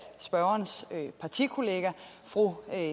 spørgerens partikollega fru